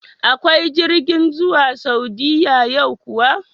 Akwai jirgin zuwa Saudiya yau kuwa?